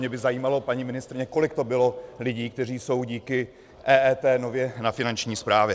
Mě by zajímalo, paní ministryně, kolik to bylo lidí, kteří jsou díky EET nově na Finanční správě.